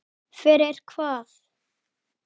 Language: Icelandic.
Fyrir hvað?